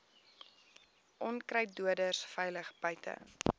onkruiddoders veilig buite